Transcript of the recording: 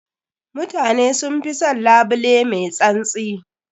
Mutane sun fi son labule mai tsantsi.